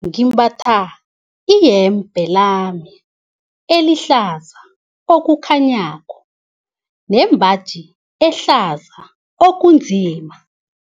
Ngimbatha iyembe lami elihlaza okukhanyako nembaji ehlaza okunzima.